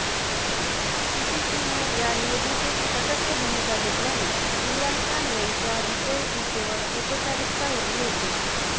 पीपीपीने या निवडणुकीत तटस्थ भूमिका घेतल्याने इम्रान खान यांचा विजय ही केवळ औपचारिकता उरली होती